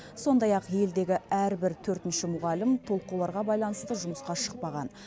сондай ақ елдегі әрбір төртінші мұғалім толқуларға байланысты жұмысқа шықпаған